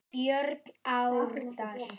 Björn Árdal.